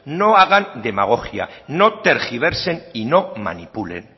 no hagan demagogia no tergiversen y no manipulen